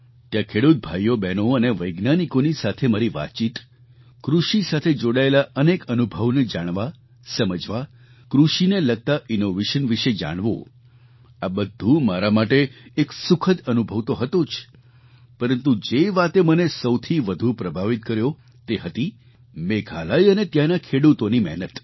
ત્યાં ખેડૂત ભાઈઓબહેનો અને વૈજ્ઞાનિકોની સાથે મારી વાતચીત કૃષિ સાથે જોડાયેલા અનેક અનુભવોને જાણવા સમજવા કૃષિને લગતાં ઇનૉવેશન વિશે જાણવું આ બધું મારા માટે એક સુખદ અનુભવ તો હતો જ પરંતુ જે વાતે મને સૌથી વધુ પ્રભાવિત કર્યો તે હતી મેઘાલય અને ત્યાંના ખેડૂતોની મહેનત